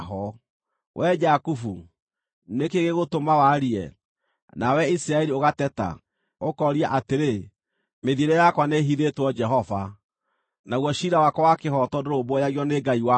Wee Jakubu, nĩ kĩĩ gĩgũtũma warie, na wee Isiraeli ũgateta, ũkooria atĩrĩ, “Mĩthiĩre yakwa nĩĩhithĩtwo Jehova; naguo ciira wakwa wa kĩhooto ndũrũmbũyagio nĩ Ngai wakwa”?